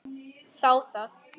Þá það!